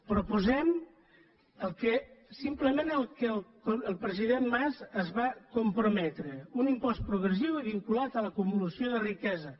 proposem simplement allò a què el president mas es va comprometre un impost progressiu i vinculat a l’acumulació de riquesa